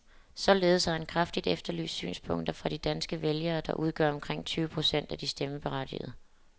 Således har han kraftigt efterlyst synspunkter fra de danske vælgere, der udgør omkring tyve procent af de stemmeberettigede.